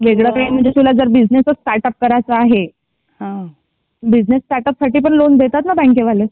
वेगळी म्हणजे तुला बिझनेसच स्टार्टअप करायचा आहे. बिझनेस स्टार्टअप साठी पण लोन देतात ना बँके वाले.